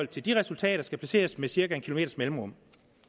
til de resultater skal placeres med cirka en kilometers mellemrum